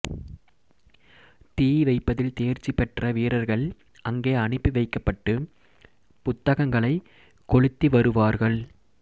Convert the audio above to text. தீ வைப்பதில் தேர்ச்சி பெற்ற வீரர்கள் அங்கே அனுப்பிவைக்கப்பட்டு புத்தகங்களைக் கொளுத்தி வருவார்கள்